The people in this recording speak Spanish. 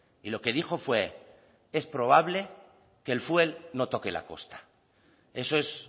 y lo que dijo fue es probable que el fuel no toque la costa eso es